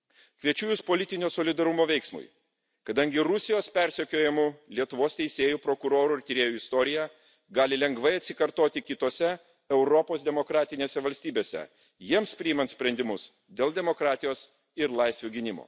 Kviečiu Jus politinio solidarumo veiksmui, kadangi Rusijos persekiojamų Lietuvos teisėjų, prokurorų ir tyrėjų istorija gali lengvai atsikartoti kitose Europos demokratinėse valstybėse, jiems priimant sprendimus dėl demokratijos ir laisvių gynimo.